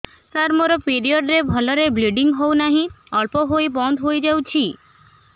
ସାର ମୋର ପିରିଅଡ଼ ରେ ଭଲରେ ବ୍ଲିଡ଼ିଙ୍ଗ ହଉନାହିଁ ଅଳ୍ପ ହୋଇ ବନ୍ଦ ହୋଇଯାଉଛି